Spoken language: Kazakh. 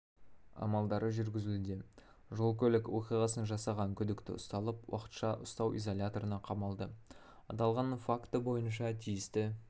амалдары жүргізілуде жол-көлік оқиғасын жасаған күдікті ұсталып уақытша ұстау изоляторына қамалды аталған факті бойынша тиісті